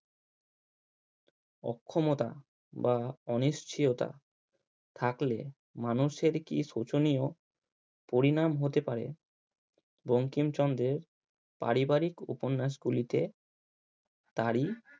অক্ষমতা বা অনিশ্চিয়তা থাকলে মানুষের কি শোচনীয় পরিনাম হতে পারে বঙ্কিমচন্দ্রের পারিবারিক উপন্যাস গুলিতে তারই